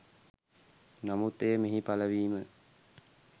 නමුත් එය මෙහි පලවීම